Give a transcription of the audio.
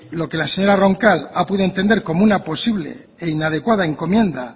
lo que la señora roncal ha podido entender como una posible e inadecuada encomienda